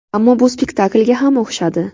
Ammo bu spektaklga ham o‘xshadi.